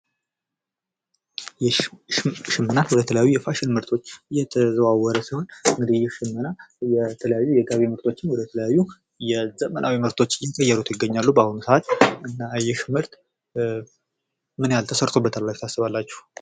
ይህ ሽመና የተለያዩ የፋሽን ምርቶች የተዘዋወረ ሲሆን እንግዲህ ይህ ሽመና የተለያዩ የገቢ ምርቶችን ወደ ተለያዩ ወደ ዘመናዊ ምርቶች እየቀየሩት ይገኛሉ በአሁኑ ሰዓት እና ይህ ምርት ምንያህል ተሰርቶበታል ብላችሁ ታስባላችሁ?